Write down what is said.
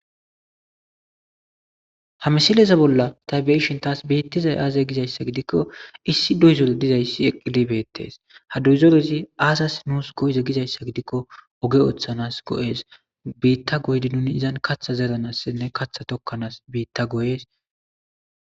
ha misileza bolla tabieshin taas biittizay aazay gizayssa gidikko issi doyzore dizayssi eqqidibeettees ha duyzorezi aasas nuus go7eze gizayssa gidikko oge ooththanas go7es biitta goydi nuni izan katha zeranassinne katha tokkanaas biitta gooyes